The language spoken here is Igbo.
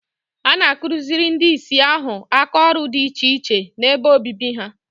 A na akụziri ndị Ịsị ahụ aka ọrụ dị iche iche n'ebe obibi ha